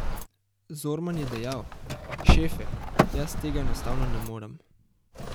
Zorman je dejal: 'Šefe, jaz tega enostavno ne morem.